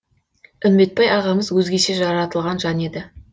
үмбетбай ағамыз өзгеше жаратылған жан еді